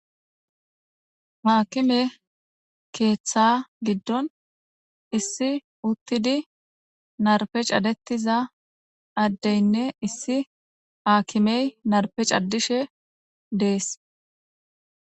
Haakime keeththa giddon issi uttidi narpe cadettiza addeynne issi aakimey narpe caddishe dees